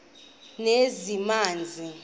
lezamanzi